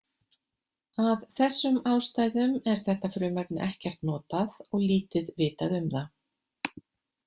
Að þessum ástæðum er þetta frumefni ekkert notað og lítið vitað um það.